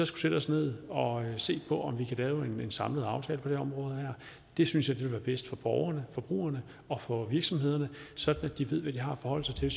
sætte os ned og se på om vi kan lave en samlet aftale på det her område det synes jeg ville være bedst for borgerne forbrugerne og for virksomhederne sådan at de ved hvad de har at forholde sig til